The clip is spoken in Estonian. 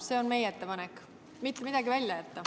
See on meie ettepanek, mitte see, et midagi välja jätta.